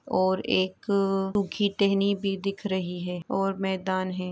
यहाँ पर बहुत सारे हिरन और हिरन के बच्चे और एक सुखी टहनी भी दिख रही है और मैदान है।